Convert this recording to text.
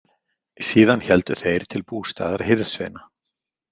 Síðan héldu þeir til bústaðar hirðsveina.